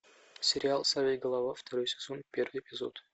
сериал сорвиголова второй сезон первый эпизод